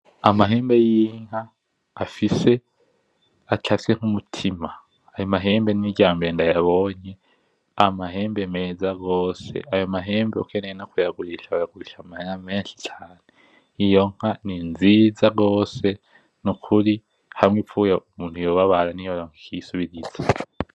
Amahembe y'inka afise , acafye nk'umutima ayo mahembe niryambere ndayabonye, amahembe meza gose, ayo mahembe ukeneye no kuyagurisha woyagurisha amahera menshi cane iyo nka ni nziza gose nukuri hamwe ipfuye umuntu yobabara ntiyoronka ikiyisubirira.